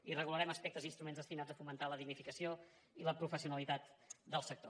i regularem aspectes i instruments destinats a fomentar la dignificació i la professionalitat del sector